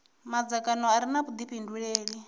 madzangano a re na vhudifhinduleli